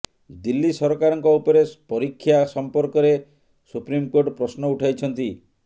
ଦିଲ୍ଲୀ ସରକାରଙ୍କ ଉପରେ ପରୀକ୍ଷା ସମ୍ପର୍କରେ ସୁପ୍ରିମକୋର୍ଟ ପ୍ରଶ୍ନ ଉଠାଇଛନ୍ତି